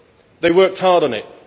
They worked hard on it.